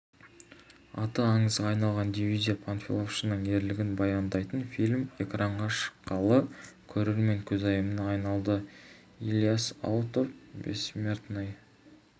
аты аңызға айналған дивизия панфиловшының ерлігін баяндайтын фильм экранға шыққалы көрермен көзайымына айналды илияс аутов бессмертный